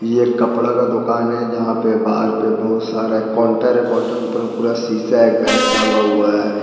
ये एक कपड़ा का दुकान है जहां पे बाहर पे बहुत सारा काउंटर है काउंटर के ऊपर पूरा शीशा है एक बैग टांगा हुआ है।